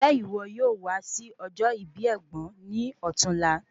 Njẹ iwo yoo wa si ojo ibi ẹgbọn ni ọ̀tunla?